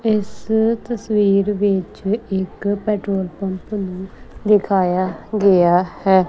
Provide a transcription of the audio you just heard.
ਇਸ ਤਸਵੀਰ ਵਿੱਚ ਇੱਕ ਪੈਟਰੋਲ ਪੰਪ ਨੂੰ ਦਿਖਾਯਾ ਗਿਆ ਹੈ।